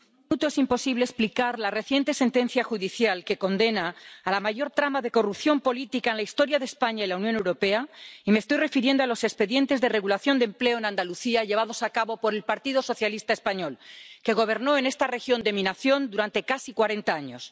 es imposible explicar la reciente sentencia judicial que condena a la mayor trama de corrupción política en la historia de España y la Unión Europea, y me estoy refiriendo a los expedientes de regulación de empleo en Andalucía llevados a cabo por el Partido Socialista español, que gobernó en esta región de mi nación durante casi cuarenta años.